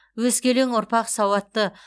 өскелең ұрпақ сауатты